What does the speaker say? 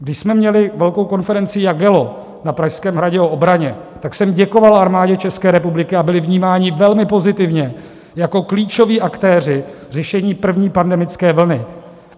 Když jsme měli velkou konferenci Jagello na Pražském hradě o obraně, tak jsem děkoval Armádě České republiky, a byli vnímáni velmi pozitivně jako klíčoví aktéři řešení první pandemické vlny.